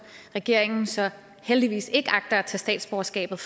regeringen så heldigvis ikke agter at tage statsborgerskabet